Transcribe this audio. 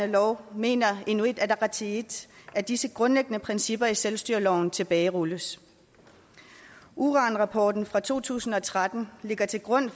lov mener inuit ataqatigiit at disse grundlæggende principper i selvstyreloven tilbagerulles uranrapporten fra to tusind og tretten ligger til grund